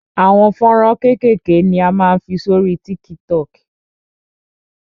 Àwọn fọ́nrán kékèké ni a máa ń fi sórí TikTok.